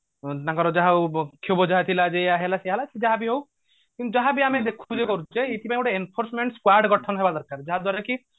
ତାଙ୍କର ଯାହା କ୍ଷୋବ ଯାହା ଥିଲା ଯେ ଏଇଆ ହେଇଗଲା ସେଇଆ ହେଇଗଲା ସେ ଯାହାବି ହଉ ଯାହାବି ଆମେ ଦେଖୁଛେ କରୁଛେ ଏଇଥି ପାଇଙ୍ଗୋତେ enforcement squad ଗଠନ ହବା ଦରକାର ଯାହାଦ୍ଵାରା କି